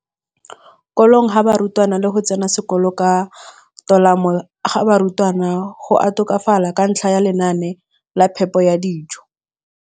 kolong ga barutwana le go tsena sekolo ka tolamo ga barutwana go a tokafala ka ntlha ya lenaane la phepo ya dijo.